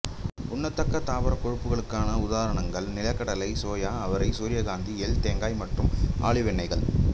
உண்ணத்தக்க தாவரக் கொழுப்புகளுக்கான உதாரணங்கள் நிலக்கடலை சோயா அவரை சூரியகாந்தி எள் தேங்காய் மற்றும் ஆலிவ் எண்ணெய்கள்